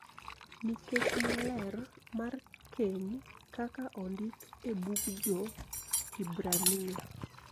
Nikech maler mar keny kaka ondik e bug Jo-Hibrania.